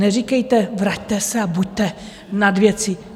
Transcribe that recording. Neříkejte, vraťte se a buďte nad věcí.